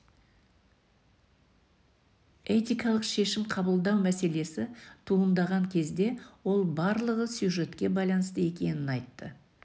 этикалық шешім қабылдау мәселесі туындаған кезде ол барлығы сюжетке байланысты екенін айтты